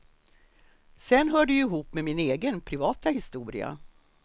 Sen hör det ju ihop med min egen, privata historia.